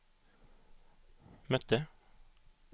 mötte